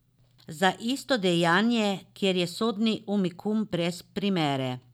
Za isto dejanje, kar je sodni unikum brez primere.